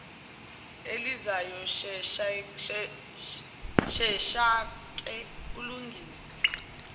elizayo sheshake umlungisele